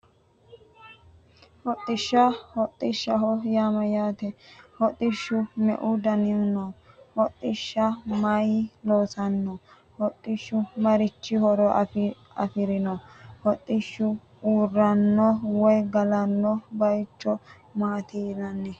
Hodhishsha hodhishshaho yaa mayyaate hodhishshu me"u danihu no hodhishsha mayinni loonsanni hodhishshu marichi horo afirino hodhishshuu uurranno woyi galanno baycho maati yinanni